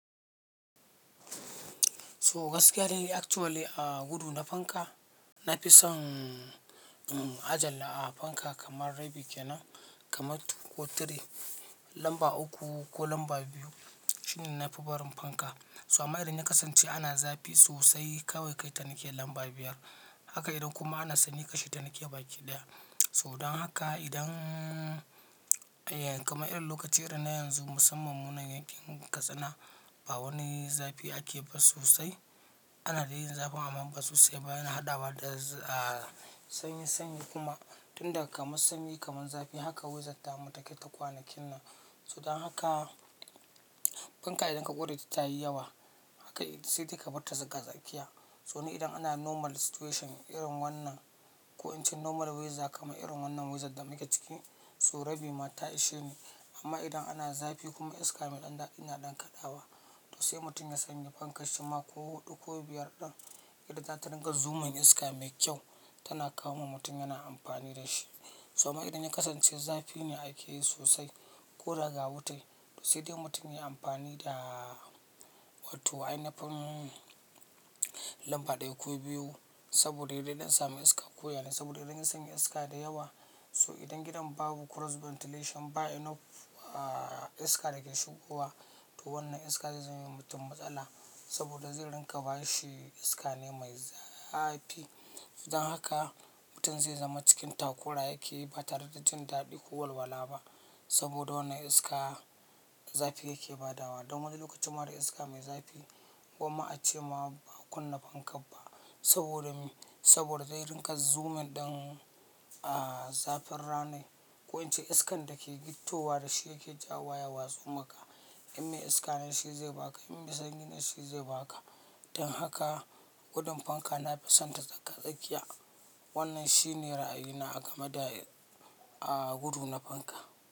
So, gaskiya dai actually gudu na a fanka nafison aje lamba kamar rabi kenan kamar 2 ko 3 lamba uku ko lambs biyu shine nafi barin fanka. So amma idan yakasance ana zafi sosai kawai kaita nike lamba biyar. Haka idan kuma ana sanyi kasheta nike baki ɗaya. So danhaka idan kamar irin lokacin irin na yanzu musamman munan yankin Katsina, bawani zafi ake ba sosai. Ana dai yin zafin amma ba sosai ba, yana haɗawa da sanyi sanyi kuma tun daga kaman sanyi kaman zafi haka wizar tamu take ta kwanakin nan. So danhaka fanka idan ka ƙureta tayi yawa haka sai take barta tsaka tsakiya. So ni idan ana normal situation irin wannan, ko ince normal wiza kamar irin wannan wizar damuke ciki, so rabi ma ta isheni. Amma idan ana zafi kuma iska mai ɗan daɗi na ɗan kaɗawa, to sai mutum ya sanye fanka shima ko huɗu ko biyar ɗan, yadda zata ringa zumun iska mai kyau tana kawowa mutum yana amfani dashi. So amma idan na yakasance zafine akeyi sosai koda ga wuta, to sai dai mutum yayi amfani da wato ainafin lamba ɗaya ko biyu saboda da yadai dan sami iska koya ne saboda idan ya sanya iska dayawa. So idan gidan babu cross ventilation ba enough iska dake shigowa, to wannan iska zai zamewa mutum matsala saboda zai ringa bashi iskane mai zafi. So danhaka mutum zai zama cikin takura yake batare da jindaɗi ko walwala ba saboda wannan iska zafi yake badawa. Dan wani lokacinma da iska mai zafi gwamma ace ma ba akunna fanka ba saboda me? Saboda zai ringa zumun ɗin zafin ranai ko ince iskan dake gittowa dashi yake jawowa ya watsu maka. In me iskane shi zai baka, in me sanyine shi zai baka. Danhaka gudun fanka nafi sonta tsaaga tsakiya. Wannan shine ra'ayi na a game da gudu na fanka.